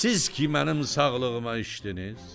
Siz ki mənim sağlığıma içdiniz.